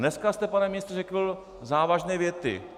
Dneska jste, pane ministře, řekl závažné věty.